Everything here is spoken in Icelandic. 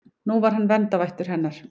Nú var hann verndarvættur hennar.